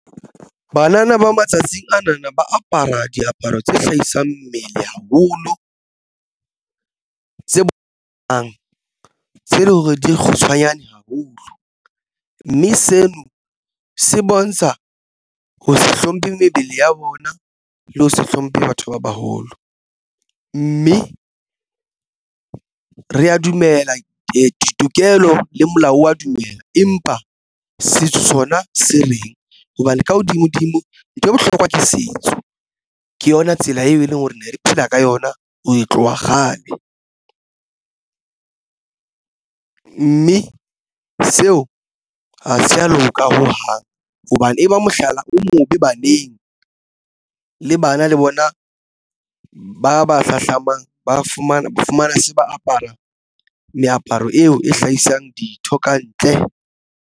Banana ba matsatsing ana na ba apara diaparo tse hlahisang mmele haholo tse tlang tse leng hore di kgutshwanyane haholo, mme seo se bontsha ho se hlomphe mebele ya bona le ho se hlomphe batho ba baholo mme re ya dumela ditokelo le molao wa dumela. Empa setso sona se reng hobane ka hodimo dimo ntho e bohlokwa ke setso ke yona tsela eo e leng hore ne re phela ka yona ho tloha kgale mme seo ha se ya loka ho hang hobane e ba mohlala o mobe baneng le bana le bona ba ba hlahlamang ba fumana se ba apara meaparo eo e hlahisang ditho kantle.